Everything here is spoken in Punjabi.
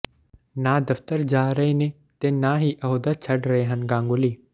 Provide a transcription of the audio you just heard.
ਨਾ ਦਫ਼ਤਰ ਜਾ ਰਹੇ ਨੇ ਤੇ ਨਾ ਹੀ ਅਹੁਦਾ ਛੱਡ ਰਹੇ ਹਨ ਗਾਂਗੁਲੀ